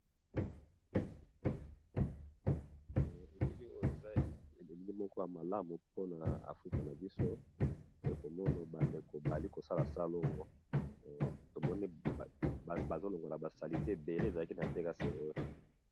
elili oyo eza eloligi moko ya malamu mpona afrika na biso bayekomono bandeko bali kosala salongo tomoni bazolongola basalite ebele ezalaki na teka se oyo